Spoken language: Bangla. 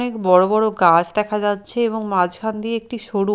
অনেক বড়ো বড়ো গাছ দেখা যাচ্ছে এবং মাঝখান দিয়ে একটি সরু--